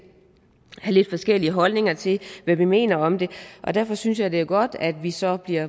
forskellige holdninger til hvad vi mener om det derfor synes jeg at det er godt at vi så bliver